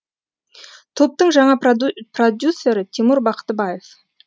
топтың жаңа продюсері тимур бақтыбаев